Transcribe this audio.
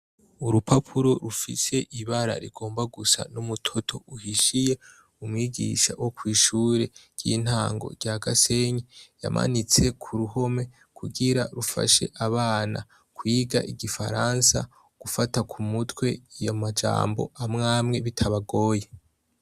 Urupapuro rufise ibara rigomba gusa n'umutoto uhishiye umwigisha wo kw'ishure ry'intango rya Gasenyi yamanitse ku ruhome kugira rufashe abana kwiga igifaransa gufata ku mutwe amajambo amwamwe bitabagoye.